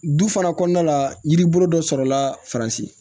Du fana kɔnɔna la yiri bolo dɔ sɔrɔ la faransi